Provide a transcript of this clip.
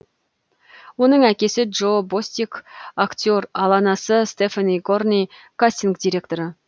оның әкесі джо бостик актер ал анасы стефани горин кастинг директор